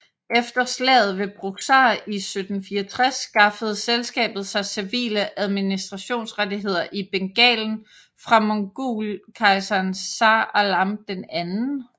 Efter slaget ved Buxar i 1764 skaffede selskabet sig civile administrationsrettigheder i Bengalen fra mogulkejseren Shah Alam II